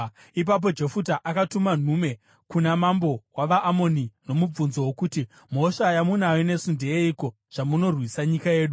Ipapo Jefuta akatuma nhume kuna mambo wavaAmoni nomubvunzo wokuti, “Mhosva yamunayo nesu ndeyeiko zvamunorwisa nyika yedu?”